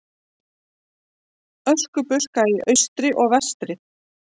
Öskubuska í austri og vestri.